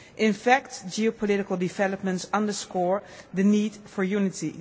In fact geopolitical developments underscore the need for unity.